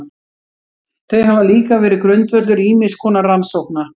Þau hafa líka verið grundvöllur ýmiss konar rannsókna.